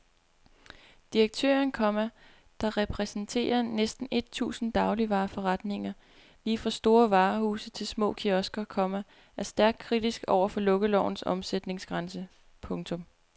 Direktøren, komma der repræsenterer næsten et tusind dagligvareforretninger lige fra store varehuse til små kiosker, komma er stærkt kritisk over for lukkelovens omsætningsgrænse. punktum